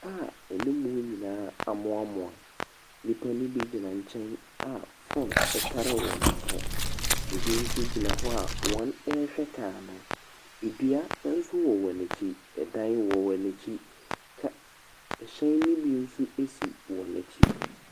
Car a anim nyinaa amoamoa. Nnipa no bi gyina nkyɛn a Phone tare wɔn aso. Ɛbi nso gyina hɔ a wɔrehwɛ car no. Dua nso wɔ wɔn akyi. Ɛdan wɔ wɔn akyi. Ka ɛhyɛn nobi nso si wɔn akyi.